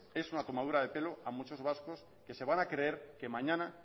es una tomadura de pelo a mucho vascos que se van a creer que mañana